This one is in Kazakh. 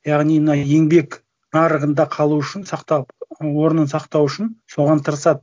яғни мына еңбек нарығында қалу үшін орнын сақтау үшін соған тырысады